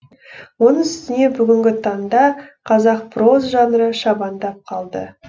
оның үстіне бүгінгі таңда қазақ проза жанры шабандап қалды